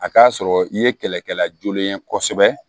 A k'a sɔrɔ i ye kɛlɛkɛla joonɛ ye kosɛbɛ